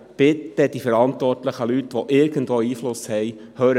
Ich bitte die Verantwortlichen, die irgendwo Einfluss nehmen können: